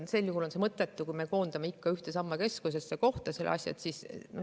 Sel juhul oleks mõttetu see, kui me koondame kõik ikka ühte ja samasse keskusesse.